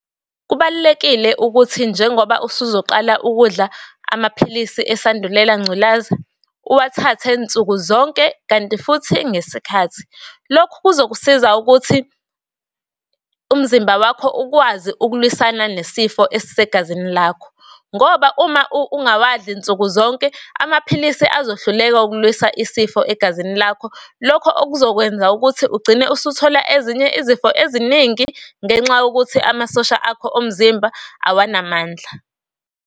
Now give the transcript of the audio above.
Kubalulekile ukuthi njengoba usuzoqala ukudla amaphilisi esandulela ngculaza uwathathe nsuku zonke, kanti futhi ngesikhathi. Lokhu kuzokusiza ukuthi umzimba wakho ukwazi ukulwiswana nesifo esisegazini lakho. Ngoba uma ungawadli nsuku zonke amaphilisi azohluleka ukulwisa isifo egazini lakho. Lokho okuzokwenza ukuthi ugcine usuthola ezinye izifo eziningi ngenxa yokuthi amasosha akho omzimba awanamandla.